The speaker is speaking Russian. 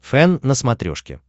фэн на смотрешке